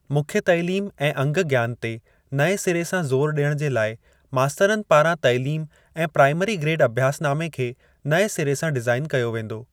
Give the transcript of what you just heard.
मुख्य तालीम ऐं अंग ज्ञान ते नएं सिरे सां ज़ोरु ॾियण जे लाइ मास्तरनि पारां तालीम ऐं प्राईमरी ग्रेड अभ्यासनामे खे नएं सिरे सां डिज़ाईन कयो वेंदो।